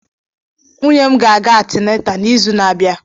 Nwunye m ga-aga antịnátà n'izu na-abịa